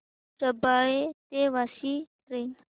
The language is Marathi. रबाळे ते वाशी ट्रेन